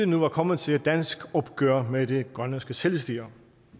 nu var kommet til et dansk opgør med det grønlandske selvstyre